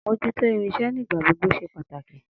Amojuto irinsẹ́ ní ìgbàgbogbo ṣe pàtàkì